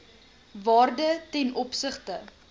waarde ten opsigte